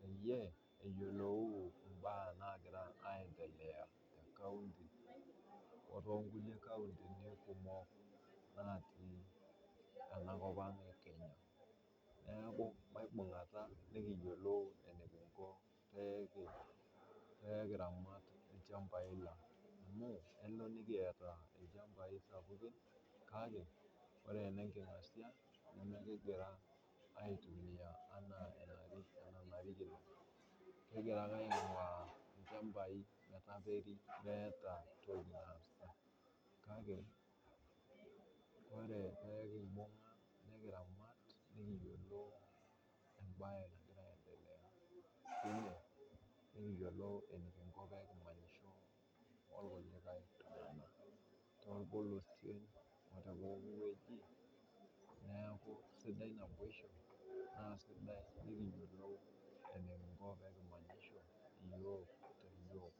peyie iyiolou mbaa nagira aendelea tekaonty otonkulie kaontini kumok natii ena kopang ekenya ,neeku maibunganta nikiyiolou enikinko peyie kiramat ilchampai lang amu kelo nikiata ilchampai sapukin kake ore enenkingasia nemikingira aitumiyia ena enarikino ,kingira ake aingua lchampai matakeri meeta ntokiting naasita kake ,ore pee kimbung nikiramat nikiyiolou enikinko pee kimanyisho irkulikae tunganak, torpolosien otepooki weji ,neeku sidai naboisho naa sidai tenikiyiolou enikinko tenikimanyisho.